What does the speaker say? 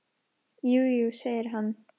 Jú, jú, segir hann.